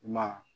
I ma